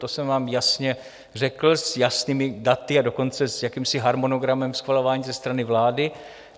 To jsem vám jasně řekl s jasnými daty, a dokonce s jakýmsi harmonogramem schvalování ze strany vlády.